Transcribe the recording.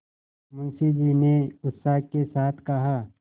मुंशी जी ने उत्साह के साथ कहा